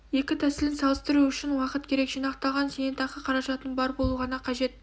екі тәсілін салыстыру үшін уақыт керек жинақталған зейнетақы қаражатының бар болуы ғана қажет